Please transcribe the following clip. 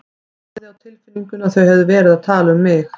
Ég hafði á tilfinningunni að þau hefðu verið að tala um mig.